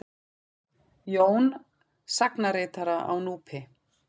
Jón sagnaritara á Núpi.